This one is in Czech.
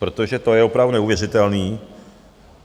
Protože to je opravdu neuvěřitelný.